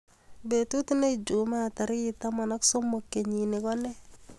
Betit ne ijumaa tarik taman ak somok kenyin ko ne?